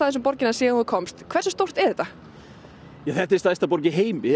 um borgina síðan þú komst hversu stórt þetta er þetta er stærsta borg í heimi